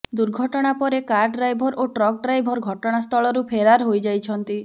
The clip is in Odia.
ଦୁର୍ଘଟଣା ପରେ କାର ଡ୍ରାଇଭର ଓ ଟ୍ରକ ଡ୍ରାଇଭର ଘଟଣାସ୍ଥଳରୁ ଫେରାର ହୋଇଯାଇଛନ୍ତି